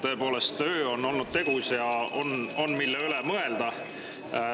Tõepoolest, öö on olnud tegus ja on, mille üle mõelda.